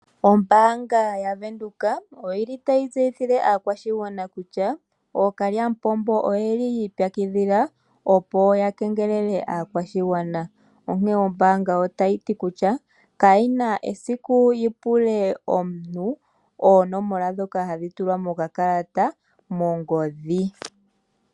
Ombaanga yavenduka oyili tayi tseyithile kutya, ookalyamupombo oyeli yiipyakidhila opo ya kengelele aakwashigwana. Onkene ombaanga otayi ti kutya, kayina esiku yipule omuntu, oonomola ndhoka hadhi tulwa mokakalata, mongodhi.